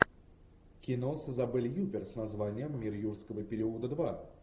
кино с изабель юппер с названием мир юрского периода два